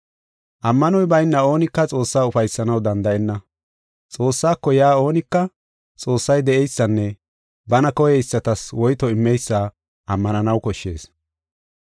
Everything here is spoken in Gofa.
Ammanoy bayna oonika Xoossaa ufaysanaw danda7enna. Xoossaako yaa oonika Xoossay de7eysanne bana koyeysatas woyto immeysa ammananaw koshshees.